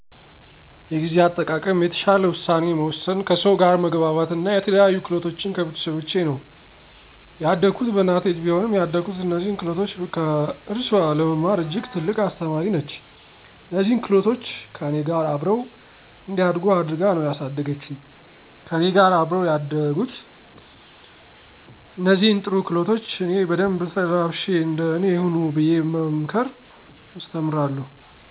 የጊዜ አጠቃቀም፣ የተሻለ ውሳኔ መወሰን፣ ከሰው ጋር መግባባት አና የተለያዩ ክህሎቶችን ከቤተሰቦቸ ነው። ያደኩት በእናቴ እጅ ቢሆንም ያደኩት እነዚህን ክህሎቶች ከእርሱአ ለመማር እጅግ ትልቅ አስተማሪ ነች። እነዚህን ክህሎቶች ከእኔ ጋር አብረው እንዲያድጉ አድርጋ ነው ያሳደገችኝ። ከእኔ ጋር አብረው ያደጉትን እነዚህን ጥሩ ክህሎቶች እኔ በደንብ ተላብሼ እንደ እኔ ሁኑ ብየ በመምከር አስተምራለሁ።